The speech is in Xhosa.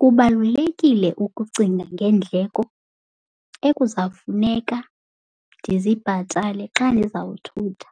Kubalulekile ukucinga ngeendleko ekuzafuneka ndizibhatale xa ndizawuthutha.